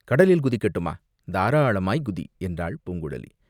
கடலில் குதிக்கட்டுமா?" தாராளமாய்க் குதி!" என்றாள் பூங்குழலி.